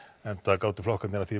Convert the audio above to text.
enda gátu flokkarnir að því